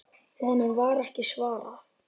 Honum var ekki svarað.